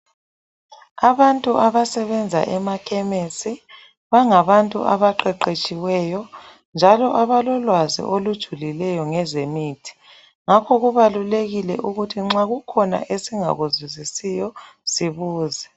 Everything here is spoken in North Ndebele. Abantu abasebenza emakhememisi bangabantu abaqeqetshiweyo njalo abalolwazi olujululileyo ngezemithi ngakho kubalulekile ukuthi nxa kukhona esingakuzwisisiyo sibuze.